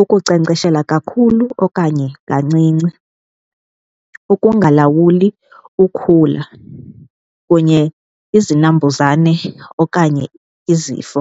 ukunkcenkceshela kakhulu okanye kancinci, ukungalawuli ukhula kunye izinambuzane okanye izifo.